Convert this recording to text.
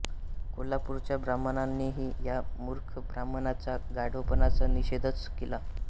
कोल्हापूरच्या ब्राह्मणांनीही या मूर्ख ब्राह्मणाच्या गाढवपणाचा निषेधच केला